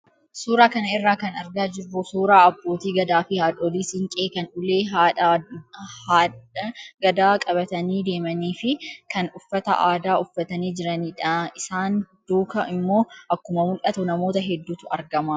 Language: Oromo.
Suuraa kana irraa kan argaa jirru suuraa abbootii gadaa fi haadholii siinqee kan ulee haadha gadaa qabatanii deemanii fi kan uffata aadaa uffatanii jiranidha. Isaan duukaa immoo akkuma mul'atu namoota hedduutu argama.